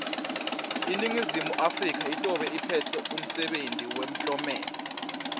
iningizimu afrika itobe iphetse umsebenti wemtlomelo